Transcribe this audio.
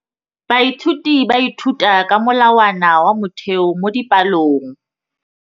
Baithuti ba ithuta ka molawana wa motheo mo dipalong.